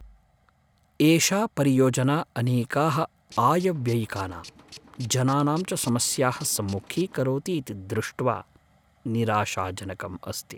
एषा परियोजना अनेकाः आयव्ययिकानां, जनानां च समस्याः सम्मुखीकरोति इति द्रुष्ट्वा निराशाजनकम् अस्ति।